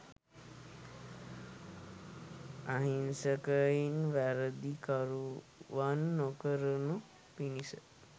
අහිංසකයින් වැරදිකරුවන් නොකරනු පිණිස